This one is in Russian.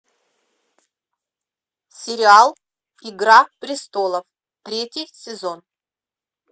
сериал игра престолов третий сезон